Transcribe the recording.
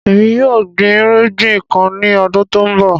Ẹmi yóò gbìn ìrìgbìn kàn ni ọdún tó nbọ.